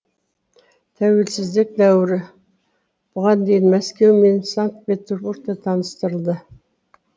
тәуелсіздік дәуірі бұған дейін мәскеу мен санкт петербургте таныстырылды